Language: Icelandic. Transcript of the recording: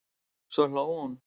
Svo hló hún.